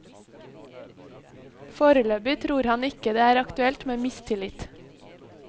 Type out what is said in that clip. Foreløpig tror han ikke det er aktuelt med mistillit.